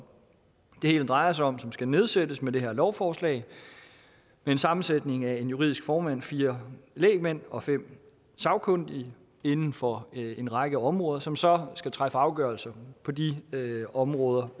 det hele drejer sig om som skal nedsættes med det her lovforslag med en sammensætning af en juridisk formand fire lægmænd og fem sagkyndige inden for en række områder som så skal træffe afgørelse på de områder